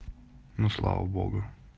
ну слава богу